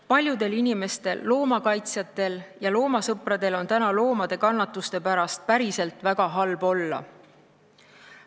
Paljudel inimestel, loomakaitsjatel ja loomasõpradel, on loomade kannatuste pärast päriselt väga halb olla.